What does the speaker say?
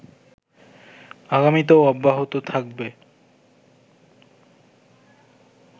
আগামীতেও অব্যাহত থাকবে